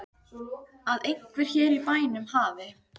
Að einhver hér í bænum hafi.